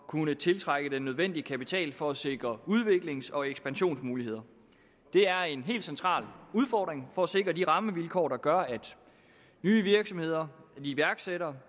kunne tiltrække den nødvendige kapital for at sikre udviklings og ekspansionsmuligheder det er en helt central udfordring for at sikre de rammevilkår der gør at nye virksomheder og iværksættere